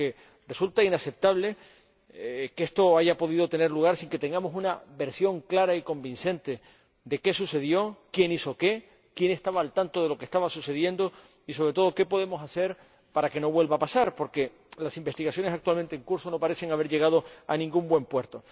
Porque resulta inaceptable que esto haya podido tener lugar sin que tengamos una versión clara y convincente de qué sucedió, quién hizo qué, quién estaba al tanto de lo que estaba sucediendo y, sobre todo, qué podemos hacer para que no vuelva a pasar, porque las investigaciones actualmente en curso no parecen haber llegado a ningún buen puerto.